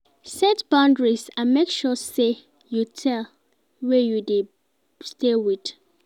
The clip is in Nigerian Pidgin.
Set boundaries and make sure you tell wey you de stay wit